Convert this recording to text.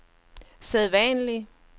sædvanlige